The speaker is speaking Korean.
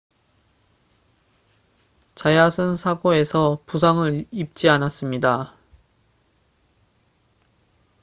자얏은 사고에서 부상을 입지 않았습니다